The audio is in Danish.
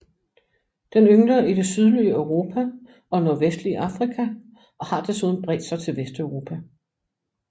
Den yngler i det sydlige Europa og nordvestlige Afrika og har desuden bredt sig til Vesteuropa